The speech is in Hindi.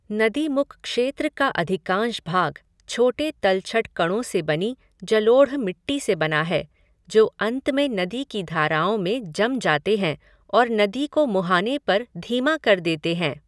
नदीमुख क्षेत्र का अधिकांश भाग छोटे तलछट कणों से बनी जलोढ़ मिट्टी से बना है जो अंत में नदी की धाराओं में जम जाते हैं और नदी को मुहाने पर धीमा कर देते हैं।